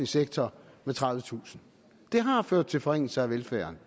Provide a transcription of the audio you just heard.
sektor med tredivetusind det har ført til forringelser af velfærden